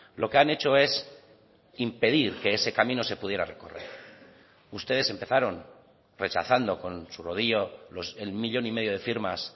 lo que han hecho es impedir que ese camino se pudiera recorrer ustedes empezaron rechazando con su rodillo el millón y medio de firmas